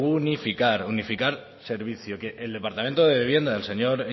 unificar unificar servicio que el departamento de vivienda del señor